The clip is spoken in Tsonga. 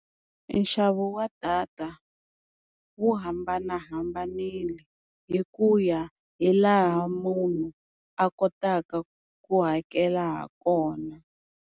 Nxavo wa data wu hambanahambanile hi ku ya hi laha munhu a kotaka ku hakela ha kona.